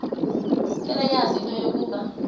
seleyazi into yokuba